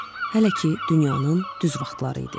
Hələ ki, dünyanın düz vaxtları idi.